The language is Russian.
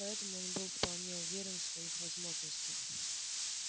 поэтому он был вполне уверен в своих возможностях